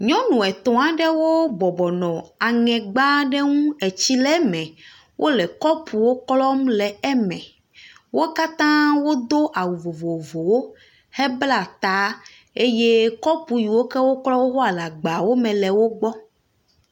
Nyɔnu etɔ̃ aɖewo bɔbɔnɔ eŋe gba aɖe ŋu etsi le eme, wole kɔpuwo klɔm le eme, wo katã wodo awu vovovowo hebla ta eye kɔpu yiwo woklɔa le agbawo me le wo gbɔ.